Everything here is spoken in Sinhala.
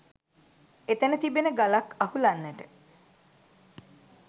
එතැන තිබෙන ගලක් අහුලන්නට